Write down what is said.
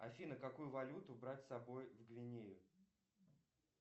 афина какую валюту брать с собой в гвинею